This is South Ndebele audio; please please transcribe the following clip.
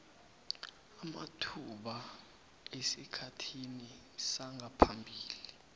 amathuba esikhathini sangaphambili